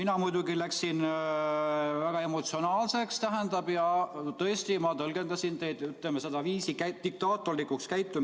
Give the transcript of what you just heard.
Mina muidugi läksin väga emotsionaalseks ja tõesti, ma tõlgendasin teie käitumisviisi diktaatorlikuks.